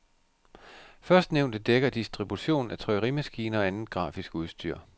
Førstnævnte dækker distribution af trykkerimaskiner og andet grafisk udstyr.